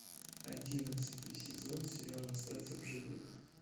одиннадцатый сезон сериала остаться в живых